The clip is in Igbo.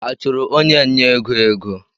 A chụrụ onye nnye ego ego?